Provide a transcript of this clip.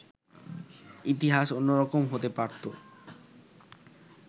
ইতিহাস অন্যরকম হতে পারত